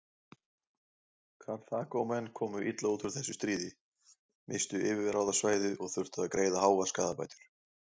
Karþagómenn komu illa út úr þessu stríði, misstu yfirráðasvæði og þurftu að greiða háar skaðabætur.